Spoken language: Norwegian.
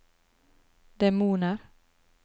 demoner